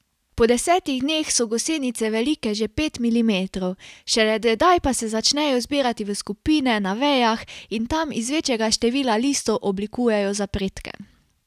Po desetih dneh so gosenice velike že pet milimetrov, šele tedaj pa se začnejo zbirati v skupine na vejah in tam iz večjega števila listov oblikujejo zapredke.